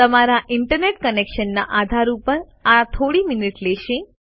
તમારા ઇન્ટરનેટ કનેક્શનના આધાર ઉપર આ થોડી મિનિટો લેશે